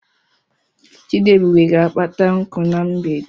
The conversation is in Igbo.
Chidiebube ga-akpata nkụ na mgbede.